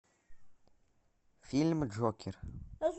фильм джокер